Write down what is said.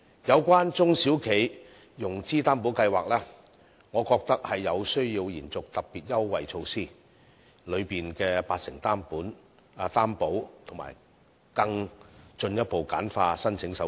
有關"中小企融資擔保計劃"，我覺得有需要延續特別優惠措施當中的八成擔保及進一步簡化申請手續。